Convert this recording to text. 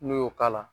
N'i y'o k'a la